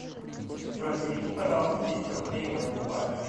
джой переведи пожалуйста тысячу рублей моему папе